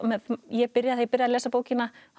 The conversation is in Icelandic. ég byrjaði að lesa bókina